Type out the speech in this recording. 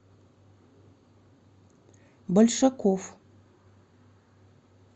большаков